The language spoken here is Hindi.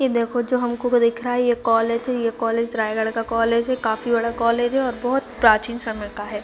ये देखो जो हमको को को दिख रहा है ये कॉलेज है ये कॉलेज रायगढ़ का कॉलेज है काफी बड़ा कॉलेज है ओर बहोत प्राचीन समय का है।